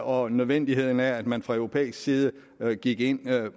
og nødvendigheden af at man fra europæisk side gik ind